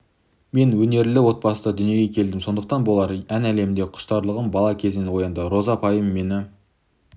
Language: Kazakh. мен өнерлі отбасында дүниеге келдім сондықтан болар ән әлеміне құштарлығым бала кезінен оянды роза апайым мені